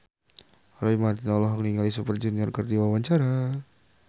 Roy Marten olohok ningali Super Junior keur diwawancara